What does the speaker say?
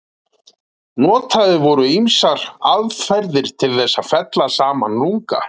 Notaðar voru ýmsar aðferðir til þess að fella saman lunga.